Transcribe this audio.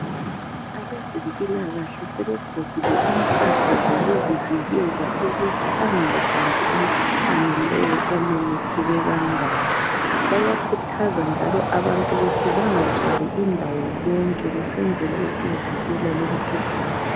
Abezempilakahle sebegqokile impahla zokuzivikela ukuze bangawubambi umkhuhlane lowu omemetheke kangaka. Bayakhuthaza njalo abantu ukuthi bangagcwali indawo yonke kusenzelwa ukuvikela lumkhuhlane.